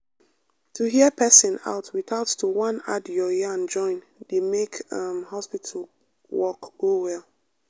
to hear person out without to wan add your yarn join dey make um hospital work go well.